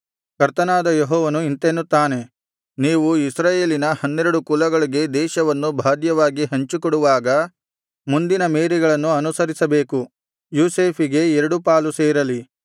ಕರ್ತನಾದ ಯೆಹೋವನು ಇಂತೆನ್ನುತ್ತಾನೆ ನೀವು ಇಸ್ರಾಯೇಲಿನ ಹನ್ನೆರಡು ಕುಲಗಳಿಗೆ ದೇಶವನ್ನು ಬಾಧ್ಯವಾಗಿ ಹಂಚಿಕೊಡುವಾಗ ಮುಂದಿನ ಮೇರೆಗಳನ್ನು ಅನುಸರಿಸಬೇಕು ಯೋಸೇಫಿಗೆ ಎರಡು ಪಾಲು ಸೇರಲಿ